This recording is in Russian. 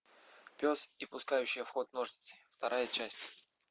пес и пускающая в ход ножницы вторая часть